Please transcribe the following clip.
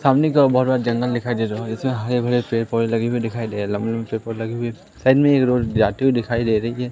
सामने का बहोत बड़ा जंगल दिखाई दे रहा है जिसमें हरे भरे पेड़ पौधे लगे हुए दिखाई दे रहे हैं लंबे लंबे पेड़ पौधे लगे हुए साइड में एक रोड जाती हुई दिखाई दे रही है।